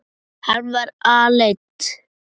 Hann var aleinn.